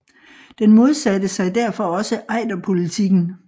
Den modsatte sig derfor også Ejderpolitikken